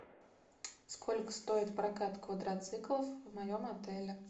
сколько стоит прокат квадроциклов в моем отеле